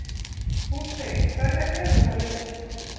Hún segir: Hverjar hefurðu þá lesið?